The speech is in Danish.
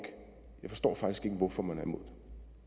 hvorfor man er imod